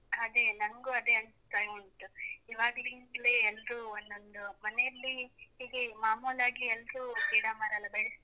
ಅದೇ ನನ್ಗೂ ಅದೇ ಅನಿಸ್ತಾ ಉಂಟು, ಇವಾಗ್ಲಿಂದಲೇ ಎಲ್ರೂ ಒಂದೊಂದು ಮನೆಯಲ್ಲಿ ಹೇಗೆ ಮಾಮೂಲಾಗಿ ಎಲ್ರೂ ಗಿಡ ಮರ ಎಲ್ಲ ಬೆಳೆಸ್ತಾ,